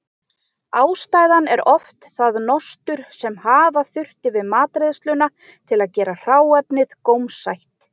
Ástæðan er oft það nostur sem hafa þurfti við matreiðsluna til að gera hráefnið gómsætt.